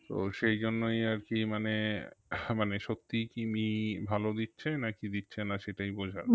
তো সেই জন্যই আর কি মানে আহ মানে সত্যিই কি মি ভালো দিচ্ছে না কি দিচ্ছে না সেটাই বোঝার